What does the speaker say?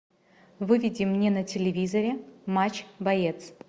выведи мне на телевизоре матч боец